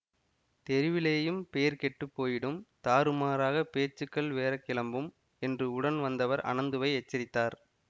தெருவிலேயும் பேர் கெட்டு போயிடும் தாறுமாறாகப் பேச்சுக்கள் வேற கிளம்பும் என்று உடன் வந்தவர் அனந்துவை எச்சரித்தார்